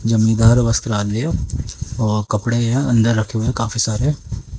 जमीदार वस्त्रालय और कपड़े यहां अंदर रखे हुए हैं काफी सारे।